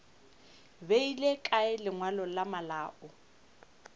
beile kae lengwalo la malao